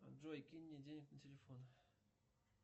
джой кинь мне денег на телефон